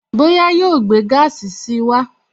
Bóyá yóò gbé gaasi si wá